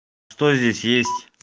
кто здесь есть